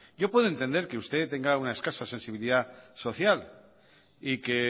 yo puedo entender que usted tenga una escasa sensibilidad social y que